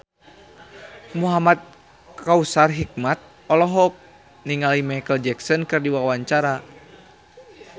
Muhamad Kautsar Hikmat olohok ningali Micheal Jackson keur diwawancara